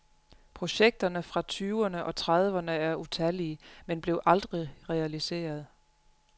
Projekterne fra tyverne og trediverne er utallige, men blev aldrig realiseret.